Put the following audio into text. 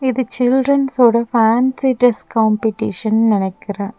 இது சில்ட்ரன்ஸோட fancy dress competition நெனைக்குற--